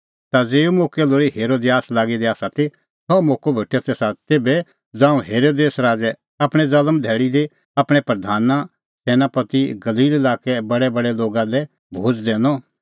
ता ज़ेऊ मोक्कै लोल़ी हेरोदियास लागी दी ती सह मोक्कअ भेटअ तेसा तेभै ज़ांऊं हेरोदेस राज़ै आपणीं ज़ल्म धैल़ी दी आपणैं प्रधाना सैनापति और गलील लाक्के बडैबडै लोगा लै भोज़ दैनअ